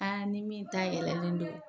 A ni min ta yɛlɛlen don.